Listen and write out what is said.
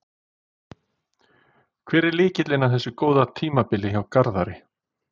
Hver er lykillinn að þessu góða tímabili hjá Garðari?